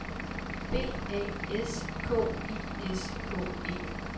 B A S K I S K E